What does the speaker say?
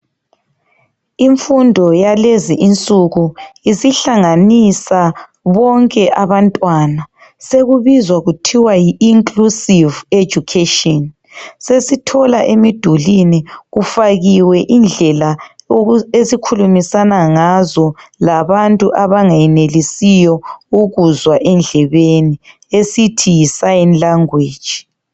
Imfundo yalezinsuku isihlanganisa bonke abantwana, sokubizwa kuthiwa yi inclusive education. Sesithola emidulini kufakiwe indlela esikhulumisana ngazo labantu abangenelisiyo ukuzwa endlebeni esithi yisign language.